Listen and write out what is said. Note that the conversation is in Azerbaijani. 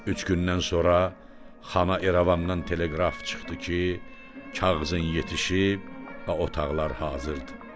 Üç gündən sonra xana İrəvandan teleqraf çıxdı ki, kağızın yetişib və otaqlar hazırdır.